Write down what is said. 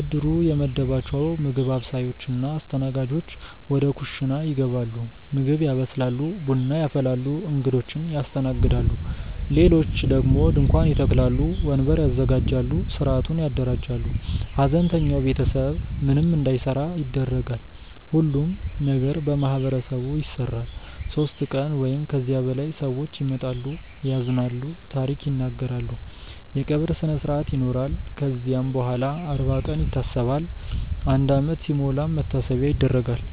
እድሩ የመደባቸው ምግብ አብሳዮች እና አስተናጋጆች ወደ ኩሽና ይገባሉ ምግብ ያበስላሉ፣ ቡና ያፈላሉ፣ እንግዶችን ያስተናግዳሉ። ሌሎች ደግሞ ድንኳን ይተክላሉ፣ ወንበር ያዘጋጃሉ፣ ሥርዓቱን ያደራጃሉ። ሐዘንተኛው ቤተሰብ ምንም እንዳይሠራ ይደረጋል። ሁሉም ነገር በማህበረሰቡ ይሰራል። ሦስት ቀን ወይም ከዚያ በላይ ሰዎች ይመጣሉ፣ ያዝናሉ፣ ታሪክ ይናገራሉ። የቀብር ስነስርአት ይኖራል ከዚያም በኋላም አርባ ቀን ይታሰባል፣ አንድ ዓመት ሲሞላም መታሰቢያ ይደረጋል።